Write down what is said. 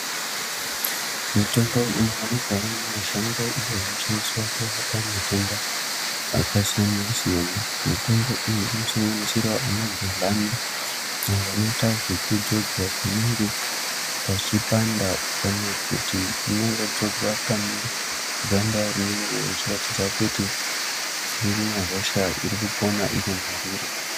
Mitombo inowanikwawo mumashango iyo inoshandiswa kurapa matenda akasiyana-siyana. Mitombo iyi inosanganisirawo anagedhlani, avo vanoita zvekudzodzwa panenge pachipanda kana kuti inongodzodzwa pane ganda rinenge richiratidza kuti rine hosha iri kupona iri mariri.